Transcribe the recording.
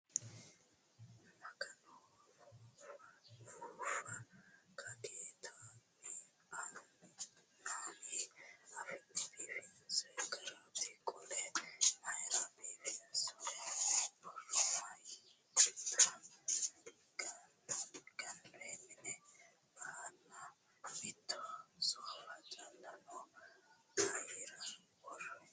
Magano! Ufuuffa kageeta mamii afi'ne biifinsoyi garaati? Qoleno mayiira biifinsoyiiwati? Borro mayiitata gannoyi minu aana? Mitto soofa calla no mayiira worroyi?